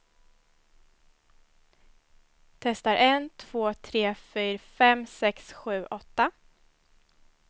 Testar en två tre fyra fem sex sju åtta.